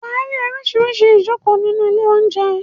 Wà á rí oríṣiríṣi ìjokòó nínú ilé-oúnjẹ.